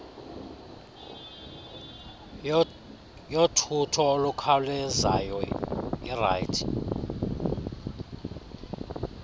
yothutho olukhawulezayo irt